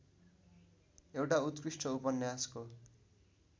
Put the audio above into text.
एउटा उत्कृष्ट उपन्यासको